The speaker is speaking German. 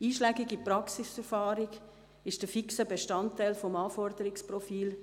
Einschlägige Praxiserfahrung ist ein fixer Bestandteil des Anforderungsprofils;